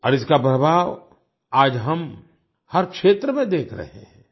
और इसका प्रभाव आज हम हर क्षेत्र में देख रहे हैं